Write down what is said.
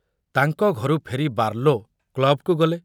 ତାଙ୍କ ଘରୁ ଫେରି ବାର୍ଲୋ କ୍ଲବକୁ ଗଲେ।